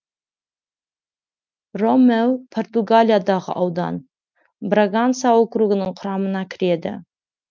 ромеу португалиядағы аудан браганса округінің құрамына кіреді